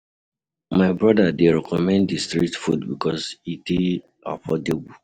My brother dey recommend di street food because e dey affordable.